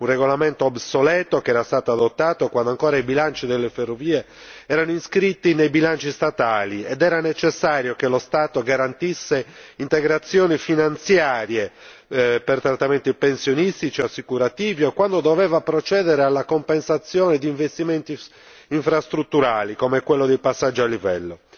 Si tratta di un regolamento obsoleto che era stato adottato quando ancora i bilanci delle ferrovie erano iscritti nei bilanci statali ed era necessario che lo Stato garantisse integrazioni finanziarie per trattamenti pensionistici e assicurativi o quando doveva procedere alla compensazione di investimenti infrastrutturali, come quello dei passaggi a livello.